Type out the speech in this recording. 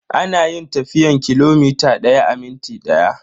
Ana yin tafiyan kilomita daya a minti daya.